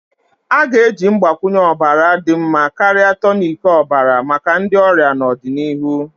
A ga-eji mgbakwunye ọbara dị mma karịa tonic ọbara maka ndi ọrịa n'ọdịnihu.